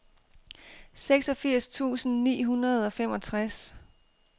seksogfirs tusind ni hundrede og femogtres